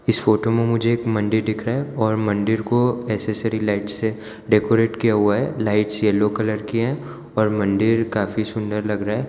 इस फोटो में मुझे एक मंदिर दिख रहा है और मंदिर को एसेसरी लाइट से डेकोरेट किया हुआ है लाइट्स येलो कलर की हैं और मंदिर काफी सुंदर लग रहा है।